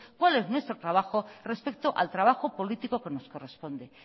cuál es nuestro trabajo respecto al trabajo político que nos corresponde